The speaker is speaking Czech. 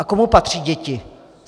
A komu patří děti?